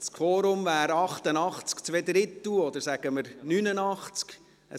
Das Quorum wäre 88,7 Stimmen, oder sagen wir, 89 Stimmen.